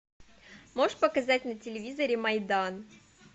можешь показать на телевизоре майдан